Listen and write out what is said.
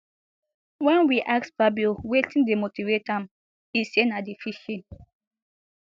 wen we ask fabio wetin dey motivate am e say na di fishing